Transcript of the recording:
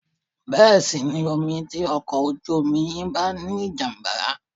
Bẹ́ sí inú omi tí ọkọ̀ ojú omi yín bá ní ìjàm̀bá